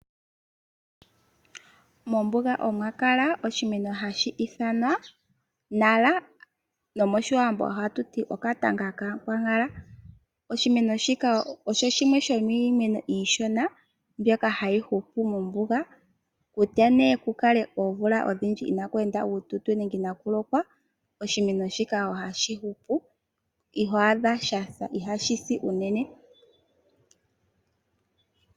Mombuga omwa kala oshimeno hashi ithanwa nara, nomOshiwambo ohatu ti okatanga kAakwankala. Oshimeno shika osho shimwe shomiimeno iishona mbyoka hayi hupu mombuga kutya nee ku kale oomvula odhindji inaaku ende uututo nenge inaaku lokwa oshimeno shika ohashi hupu iho adha sha sa , ihashi si unene.